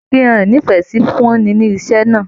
Ìfihàn ínífẹsí fún ùn ní iṣẹ náà.